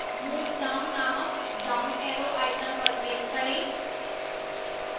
move down named down arrow icon पर click करें